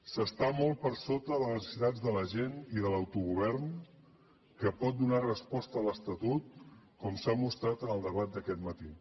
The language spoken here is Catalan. s’està molt per sota de les necessitats de la gent i de l’autogovern que pot donar hi resposta l’estatut com s’ha mostrat en el debat d’aquest matí